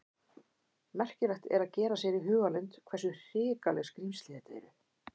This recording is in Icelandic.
Merkilegt er að gera sér í hugarlund hversu hrikaleg skrímsli þetta eru.